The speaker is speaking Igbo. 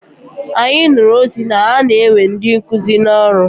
Anyị nụrụ ozi na-ana ewe ndị nkụzi n'ọrụ.